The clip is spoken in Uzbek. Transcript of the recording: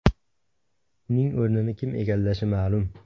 Uning o‘rnini kim egallashi ma’lum.